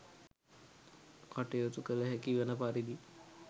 කටයුතු කළහැකි වන පරිදි